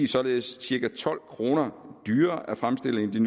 således cirka tolv kroner dyrere at fremstille